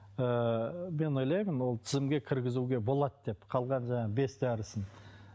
ыыы мен ойлаймын ол тізімге кіргізуге болады деп қалған жаңағы бес дәрісін